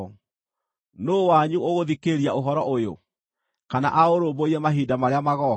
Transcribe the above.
Nũũ wanyu ũgũthikĩrĩria ũhoro ũyũ, kana aũrũmbũiye mahinda marĩa magooka?